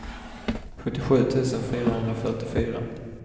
sjuttiosju tusen fyrahundrafyrtiofyra